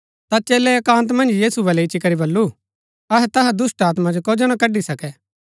ता चेलै एकान्त मन्ज यीशु बलै इच्ची करी बल्लू अहै तैहा दुष्‍टात्मा जो कजो ना कड़ी सकै